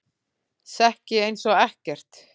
Sekk ég einsog ekkert.